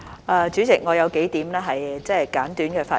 代理主席，我有數點簡短的發言。